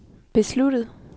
besluttet